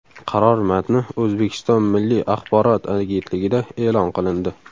Qaror matni O‘zbekiston Milliy axborot agentligida e’lon qilindi .